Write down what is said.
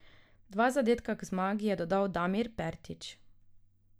Dva zadetka k zmagi je dodal Damir Pertič.